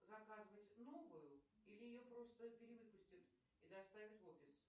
заказывать новую или ее просто перевыпустят и доставят в офис